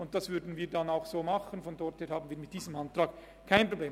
Das würden wir dann auch so machen, insofern haben wir mit diesem Antrag kein Problem.